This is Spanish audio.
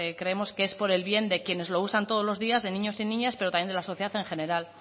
creemos que es por el bien de quienes lo usan todos los días de niños y niñas pero también de la sociedad en general